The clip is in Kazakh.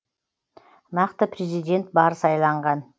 нақты президент бар сайланған